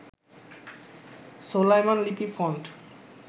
Solaiman Lipi font